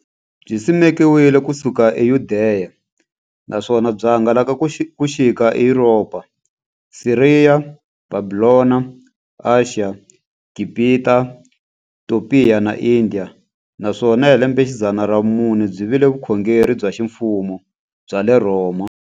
Byisimekiwe ku suka eYudeya, naswona byi hangalake ku xika eYuropa, Siriya, Bhabhilona, Ashiya, Gibhita, Topiya na Indiya, naswona hi lembexidzana ra vumune byi vile vukhongeri bya ximfumo bya le Rhoma.